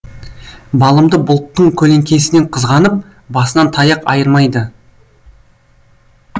балымды бұлттың көлеңкесінен қызғанып басынан таяқ айырмайды